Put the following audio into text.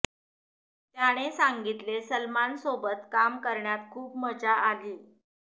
त्याने सांगितले सलमान सोबत काम करण्यात खूप मजा आली